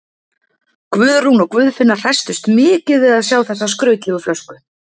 Guðrún og Guðfinna hresstust mikið við að sjá þessa skrautlegu flösku.